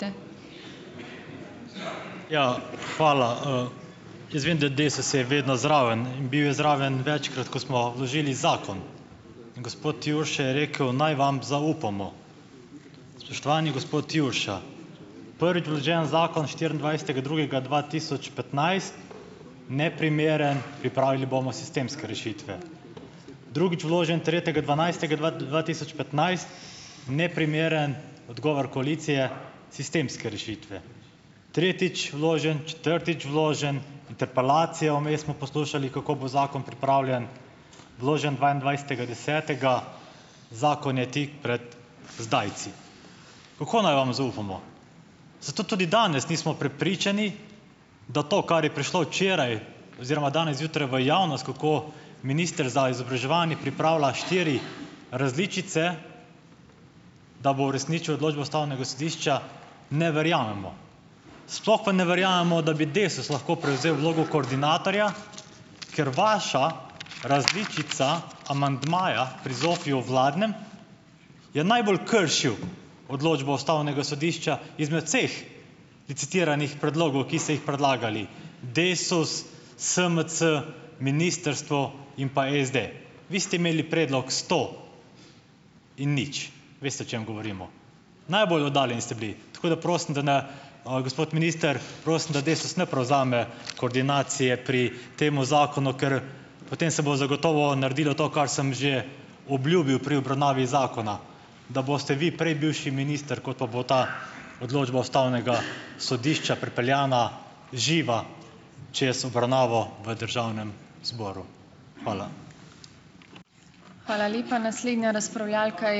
Ja, hvala. Jaz vem, da Desus je vedno zraven in bil je zraven večkrat, ko smo vložili zakon, gospod Jurša je rekel, naj vam zaupamo. Spoštovani gospod Jurša, prvič vložen zakon s štiriindvajsetega drugega dva tisoč petnajst, neprimeren, pripravili bomo sistemske rešitve. Drugič vložen tretjega dvanajstega dva dva tisoč petnajst, neprimeren, odgovor koalicije, sistemske rešitve. Tretjič vložen, četrtič vložen, interpelacijo, vmes smo poslušali, kako bo zakon pripravljen, vložen dvaindvajsetega desetega, zakon je tik pred zdajci. Kako naj vam zaupamo? Zato tudi danes nismo prepričani, da to, kar je prišlo včeraj oziroma danes zjutraj v javnost, kako minister za izobraževanje pripravlja štiri različice, da bo uresničil odločbo ustavnega sodišča, ne verjamemo. Sploh pa ne verjamemo, da bi Desus lahko prevzel vlogo koordinatorja, ker vaša različica amandmaja pri ZOFVI-ju, vladnem, je najbolj kršil odločbo ustavnega sodišča izmed vseh licitiranih predlogov, ki ste jih predlagali, Desus, SMC, ministrstvo in pa SD. Vi ste imeli predlog sto in nič. Veste, o čem govorimo. Najbolj oddaljeni ste bili, tako da prosim da ne, gospod minister, prosim, da Desus ne prevzame koordinacije pri tem zakonu, ker potem se bo zagotovo naredilo to, kar sem že obljubil pri obravnavi zakona, da boste vi prej bivši minister, kot pa bo ta odločba ustavnega sodišča pripeljana živa čez obravnavo v državnem zboru. Hvala.